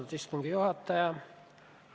Austatud istungi juhataja!